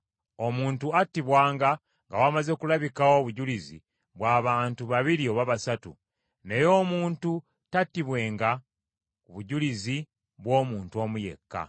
Omuntu anattibwanga nga wamaze kulabikawo obujulizi bw’abantu babiri oba basatu, naye omuntu tattibwenga ku bujulizi bw’omuntu omu yekka.